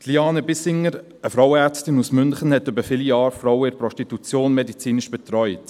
Liane Bissinger, eine Frauenärztin aus München, hat Frauen in der Prostitution über viele Jahre medizinisch betreut.